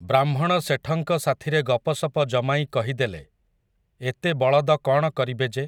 ବ୍ରାହ୍ମଣ ଶେଠଙ୍କ ସାଥିରେ ଗପସପ ଜମାଇ କହିଦେଲେ, ଏତେ ବଳଦ କ'ଣ କରିବେ ଯେ ।